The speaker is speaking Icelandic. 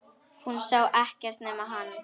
Hún sá ekkert nema hann!